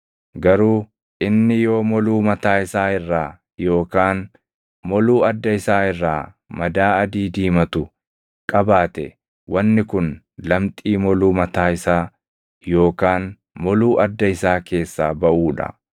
Garuu inni yoo moluu mataa isaa irraa yookaan moluu adda isaa irraa madaa adii diimatu qabaate wanni kun lamxii moluu mataa isaa yookaan moluu adda isaa keessaa baʼuu dha.